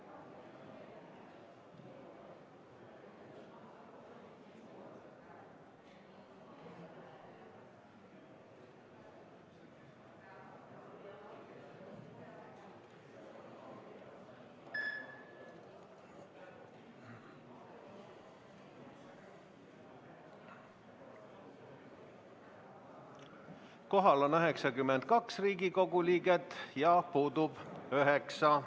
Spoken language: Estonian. Kohal on 92 Riigikogu liiget ja puudub 9.